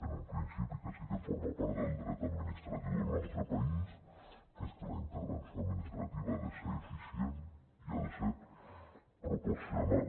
en un principi que sí que forma part del dret administratiu del nostre país que és que la intervenció administrativa ha de ser eficient i ha de ser proporcional